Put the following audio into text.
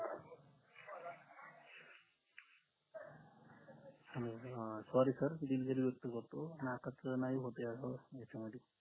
अह sorry sir दिलगिरी व्यक्त करतो नकाच नाही होते अह ह्याच्या मधी